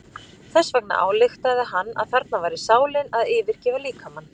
Þess vegna ályktaði hann að þarna væri sálin að yfirgefa líkamann.